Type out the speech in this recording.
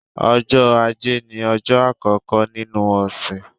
Ọjọ́ Ajé ní ọjọ́ àkọ́kọ́ nínú ọ̀sẹ̀.